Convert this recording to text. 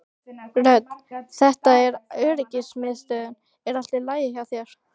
Rödd: Þetta er öryggismiðstöðin er allt í lagi hjá þér?